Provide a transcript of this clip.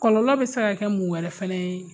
Kɔlɔlɔ bɛ se ka kɛ mun wɛrɛ fana ye?